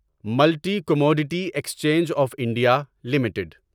ملتی commodity exchange of India limited